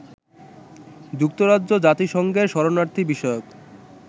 যুক্তরাজ্য জাতিসংঘের শরণার্থী বিষয়ক